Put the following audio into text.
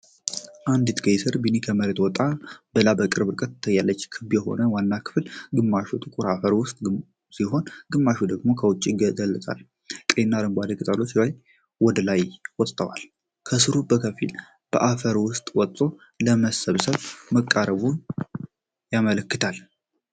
አንዲት ቀይ ስር (ቢት) ከመሬት ወጣ ብላ በቅርብ ርቀት ትታያለች። ክብ የሆነው ዋናው ክፍል ግማሹ ጥቁር አፈር ውስጥ ሲሆን ግማሹ ደግሞ ከውጭ ይገለጻል። ቀይና አረንጓዴ ቅጠሎቿ ወደ ላይ ወጥተዋል። ስሩ በከፊል ከአፈር ውስጥ ወጥቶ ለመሰብሰብ መቃረቡን ያመለክታል።